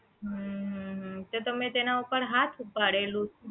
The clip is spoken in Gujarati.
હમ હમ તો તમે એના ઉપર હાથ ઉપાડેલું